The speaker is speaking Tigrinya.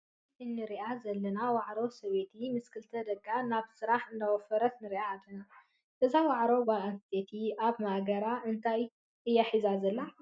እዛ ኣብ ምስሊ እንሩኣ ዘለና ዋዕሮ ሰበብይቲ ምስ ክልተ ደቃ ናብ ስራሕ እንዳወፈረት ንሪኣ ኣለና። እዛ ዋዕሮ ጓለ ኣነስተይቲ ኣብ ማእገራ እንታ እያ ሒዛ ዘላ?